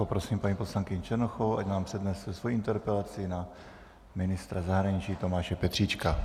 Poprosím paní poslankyni Černochovou, ať nám přednese svoji interpelaci na ministra zahraničí Tomáše Petříčka.